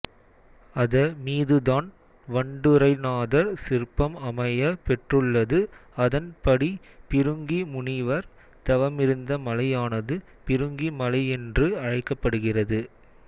அத மீதுதான் வண்டுறைநாதர் சிற்பம் அமைய பெற்றுள்ளதுஅதன் படி பிருங்கி முனிவர் தவமிருந்த மலையானது பிருங்கி மலையென்று அழைக்கப்படுகிறது